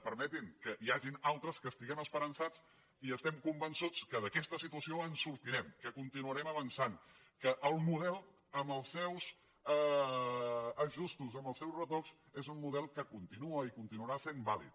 permetin que n’hi hagi altres que estiguem esperançats i estem convençuts que d’aquesta situació en sortirem que continuarem avançant que el model amb els seus ajustos amb els seus retocs és un model que continua i continuarà sent vàlid